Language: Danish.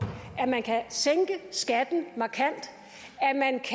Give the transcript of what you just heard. at man kan sænke skatten markant